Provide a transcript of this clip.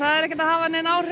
er ekkert að hafa áhrif